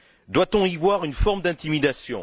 Doit on y voir une forme d'intimidation?